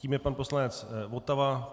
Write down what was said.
Tím je pan poslanec Votava.